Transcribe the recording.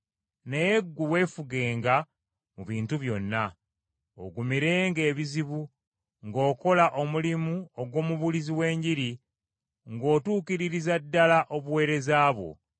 Naye ggwe weefugenga mu bintu byonna, ogumirenga ebizibu, ng’okola omulimu ogw’omubuulizi w’enjiri, ng’otuukiririza ddala obuweereza bwo.